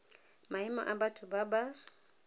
maemo a batho ba ba